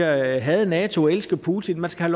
at hade nato og elske putin man skal